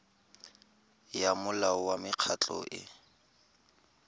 ya molao wa mekgatlho e